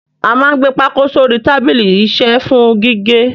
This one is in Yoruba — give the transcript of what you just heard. A máa ń gbé pákó sórí tábìlì isẹ́ fún gígé.